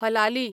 हलाली